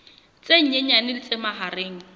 tse nyenyane le tse mahareng